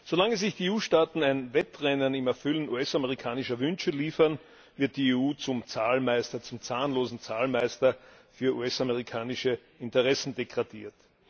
Solange sich die EU Staaten ein Wettrennen im Erfüllen US amerikanischer Wünsche liefern, wird die EU zum zahnlosen Zahlmeister für US amerikanische Interessen degradiert.